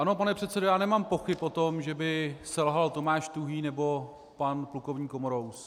Ano, pane předsedo, já nemám pochyb o tom, že by selhal Tomáš Tuhý nebo pan plukovník Komorous.